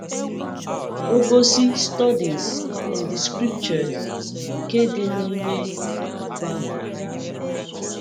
Ọ gosi Studies in the Scriptures nke dị n’ime igbe akwụkwọ.